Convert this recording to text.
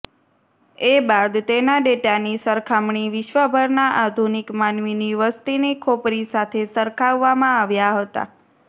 એ બાદ તેના ડેટાની સરખામણી વિશ્વભરના આધુનિક માનવીની વસ્તીની ખોપરી સાથે સરખાવવામાં આવ્યા હતા